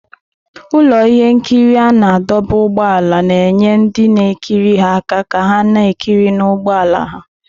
Ụlọ ihe nkiri a na-adọba ụgbọala na-enye ndị na-ekiri ha aka ka ha na-ekiri n'ụgbọ ala ha.